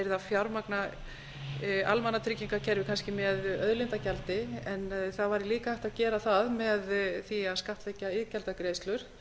yrði að fjármagna almannatryggingakerfið kannski með auðlindagjaldi en það væri líka hægt að gera það með því að skattleggja iðgjaldagreiðslur